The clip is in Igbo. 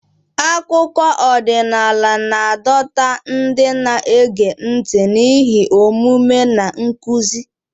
Akụkọ ọdịnala na-adọta ndị na-ege ntị n'ihe omume na nkuzi.